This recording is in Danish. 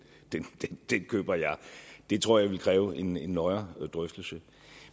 køber jeg det tror jeg ville kræve en en nøjere drøftelse